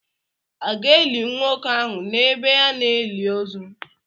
À ga-eli nwoke ahụ n’ebe a na-eli ozu?